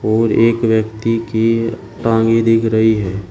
और एक व्यक्ति की टांगे दिख रही है।